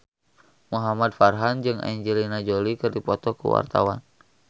Muhamad Farhan jeung Angelina Jolie keur dipoto ku wartawan